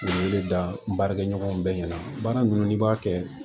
N'i bɛ da n baarakɛɲɔgɔnw bɛɛ ɲɛna baara ninnu n'i b'a kɛ